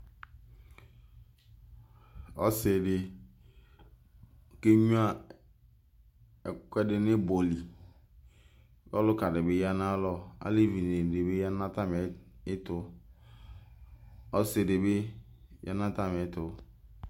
Ɔsi di kegnua ɛkʋɛdi n'ibɔ li Ɔlʋka di bi ya naya lɔ, alevi dini bi ya n'atamiɛtʋ, ɔsidi bi ya n'atamiɛtʋ